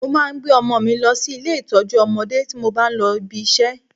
Mo máa ń gbé ọmọ mi lọ sí ilé ìtọ́jú ọmọdé tí mo bá ń lọ ibi iṣẹ́